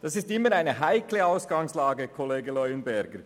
Das ist immer eine heikle Ausgangslage, Kollege Leuenberger.